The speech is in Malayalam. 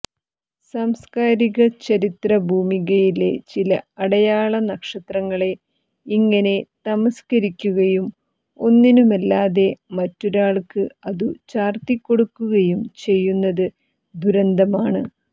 സാംസ്കാരിക ചരിത്ര ഭൂമികയിലെ ചില അടയാള നക്ഷത്രങ്ങളെ ഇങ്ങനെ തമസ്ക്കരിക്കുകയും ഒന്നിനുമല്ലാതെ മറ്റൊരാൾക്ക് അതു ചാർത്തിക്കൊടുക്കുകയും ചെയ്യുന്നത് ദുരന്തമാണ്